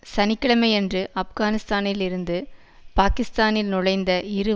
சனி கிழமையன்று ஆப்கானிஸ்தானில் இருந்து பாக்கிஸ்தானில் நுழைந்த இரு